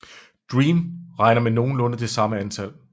DREAM regner med nogenlunde det samme antal